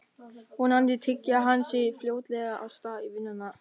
Vonandi tygjar hann sig fljótlega af stað í vinnuna.